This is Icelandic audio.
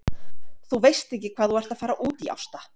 Þú veist ekki hvað þú ert að fara út í Ásta!